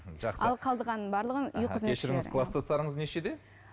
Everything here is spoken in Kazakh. жақсы ал қалғанының барлығын кешіріңіз кластастарыңыз нешеде